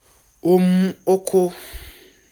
ó mú ó kó